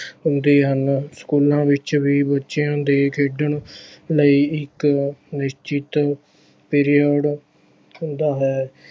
ਹੁੰਦੇ ਹਨ, ਸਕੂਲਾਂ ਵਿੱਚ ਵੀ ਬੱਚਿਆਂ ਦੇ ਖੇਡਣ ਲਈ ਇੱਕ ਨਿਸ਼ਚਿਤ period ਹੁੰਦਾ ਹੈ।